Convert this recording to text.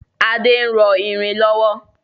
Ade ń rọ irin lọ́wọ́